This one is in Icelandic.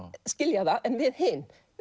skilja það en við hin